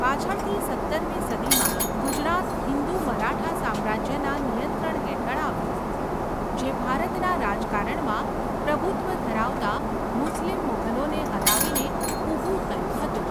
પાછળથી સત્તરમી સદીમાં, ગુજરાત હિન્દુ મરાઠા સામ્રાજ્યના નિયંત્રણ હેઠળ આવ્યું જે ભારતના રાજકારણમાં પ્રભુત્વ ધરાવતા મુસ્લિમ મુઘલોને હરાવીને ઉભું થયું હતું.